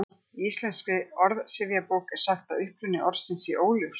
Í Íslenskri orðsifjabók er sagt að uppruni orðsins sé óljós.